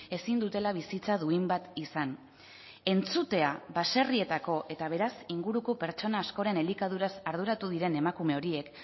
ezin dutela bizitza duin bat izan entzutea baserrietako eta beraz inguruko pertsona askoren elikaduraz arduratu diren emakume horiek